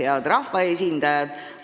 Head rahvaesindajad!